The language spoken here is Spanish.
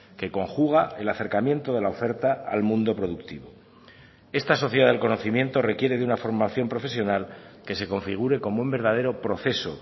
que conjuga el acercamiento de la oferta al mundo productivo esta sociedad del conocimiento requiere de una formación profesional que se configure como un verdadero proceso